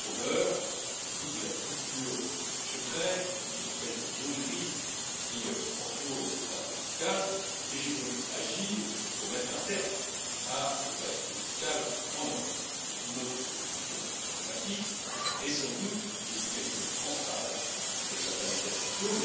Les fraudeurs jouent de la culture du secret, de l'espèce de zone grise qui entoure les pratiques fiscales et j'ai donc agi pour mettre un terme à l'opacité fiscale en Europe. Notre proposition la plus emblématique est sans doute l'obligation de transparence pour les intermédiaires fiscaux.